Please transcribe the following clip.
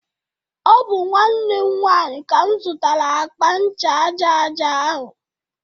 Ọ bụ nwanne m nwanyị ka m zụtara akpa ncha aja aja ahu